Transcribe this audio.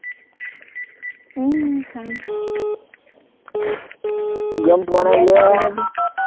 উম চাম